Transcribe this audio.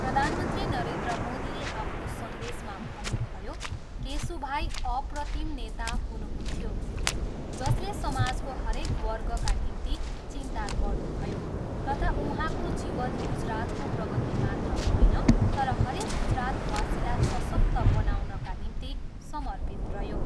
प्रधानमन्त्री नरेन्द्र मोदीले आफ्नो सन्देशमा भन्नुभयो, केशुभाइ अप्रतिम नेता हुनुहुन्थ्यो जसले समाजको हरेक वर्गका निम्ति चिन्ता गर्नुभयो तथा उहाँको जीवन गुजरातको प्रगति मात्र होइन तर हरेक गुजरातवासीलाई सशक्त बनाउनका निम्ति समर्पित रह्यो।